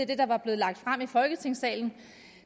det der var blevet lagt frem i folketingssalen